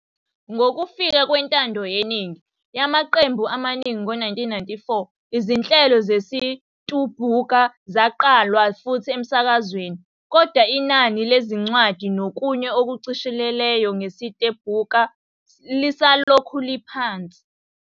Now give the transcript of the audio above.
Ngokufika kwentando yeningi yamaqembu amaningi ngo-1994, izinhlelo zesiTumbuka zaqalwa futhi emsakazweni, kodwa inani lezincwadi nokunye okushicilelwa ngesiTumbuka lisalokhu liphansi.